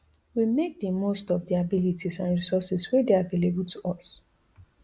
we make di most of di abilities and resources wey dey available to us